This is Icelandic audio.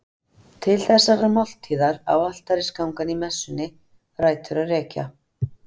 Til þessarar máltíðar á altarisgangan í messunni rætur að rekja.